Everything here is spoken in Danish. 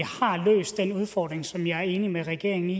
løst den udfordring som jeg er enig med regeringen i